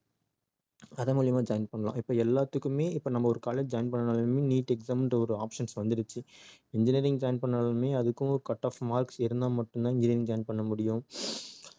அதன் மூலமா join பண்ணலாம் இப்ப எல்லாத்துக்குமே இப்ப நம்ம ஒரு college join பண்ணனும்னாலுமே neet exam ன்ற ஒரு options வந்துருச்சு engineering join பண்ணனும்னாலுமே அதுக்கும் cut off marks இருந்தா மட்டும் தான் engineering join பண்ண முடியும்